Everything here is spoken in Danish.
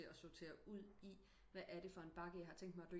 Til at sotere ud i hvad er det for en bakke jeg har tænkt mig